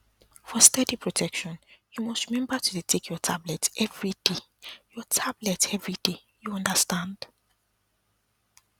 for steady protection you must remember to dey take your tablet everyday your tablet everyday you understand